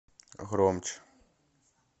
громче